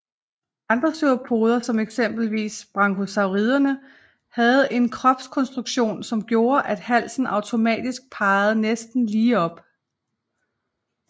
Andre sauropoder som eksempelvis brachiosauriderne havde en kropskonstruktion som gjorde at halsen automatisk pegede næsten lige op